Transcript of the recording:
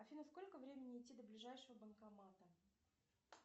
афина сколько времени идти до ближайшего банкомата